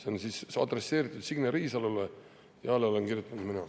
Arupärimine on adresseeritud Signe Riisalole ja alla olen kirjutanud mina.